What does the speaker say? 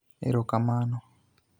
Erokamano!